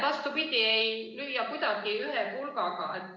Vastupidi, ei lööda kuidagi ühe pulgaga.